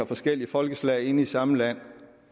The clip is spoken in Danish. forskellige folkeslag inde i samme land